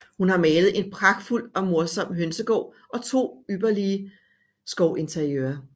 Hun har malet en pragtfuld og morsom Hønsegaard og to ypperlige Skovinteriører